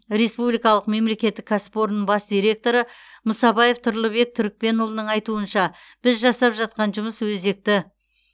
республикалық мемлекеттік кәсіпорынның бас директоры мұсабаев тұрлыбек түркпенұлының айтуы бойынша біз жасап жатқан жұмыс өзекті